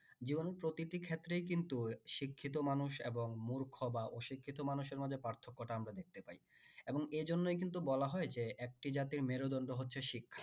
জীবনের প্রতিটি ক্ষেত্রেই কিন্তু শিক্ষিত মানুষ এবং মূর্খ বা অশিক্ষিত মানুষের মাঝে পার্থক্যটা আমরা দেখতে পাই এবং এ জন্যই কিন্তু বলা হয় যে একটি জাতির মেরুদণ্ড হচ্ছে শিক্ষা